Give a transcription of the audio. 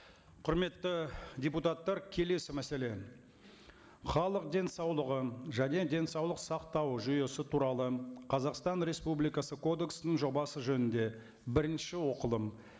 құрметті депутаттар келесі мәселе халық денсаулығы және денсаулық сақтау жүйесі туралы қазақстан республикасы кодексінің жобасы жөнінде бірінші оқылым